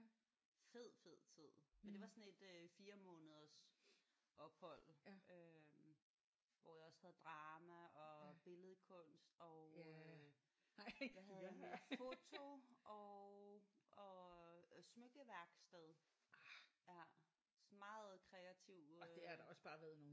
Fed fed tid. Men det var sådan et øh 4 måneders ophold øh hvor jeg også havde drama og billedkunst og øh hvad havde jeg mere? Foto og smykkeværksted. Ja sådan meget kreativ øh